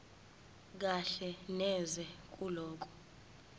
kahle neze kulokho